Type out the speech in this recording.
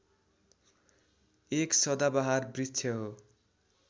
एक सदाबहार वृक्ष हो